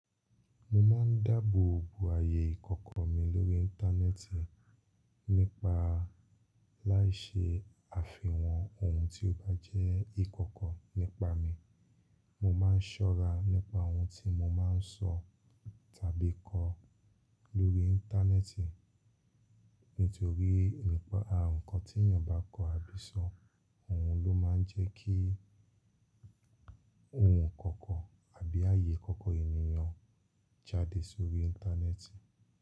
Mo máa n dáàbò bo ayé ìkọ̀kọ̀ mi lórí íńtánẹ́ẹ̀tì nípa láì ṣe àfihàn ohun tí ó bá jẹ́ ìkọ̀kọ̀ nípa mi. Mo máa n sọ́ra nípa ohun tí mo máa n sọ tàbí kọ lórí íńtánẹ́ẹ̀tì. Nítorí nípa ǹnkan tí èeyan bá kọ àbí sọ, òhun ló máa n jẹ́ kí ohun ìkọ̀kọ̀ àbí ayé ìkọ̀kọ̀ ènìyàn jáde sórí íńtánẹ́ẹ̀tì.